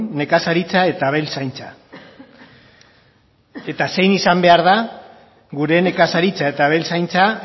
nekazaritza eta abeltzaintza eta zein izan behar den gure nekazaritza eta abeltzaintza